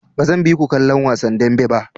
Bazan bi ku kallon wasan dambe ba.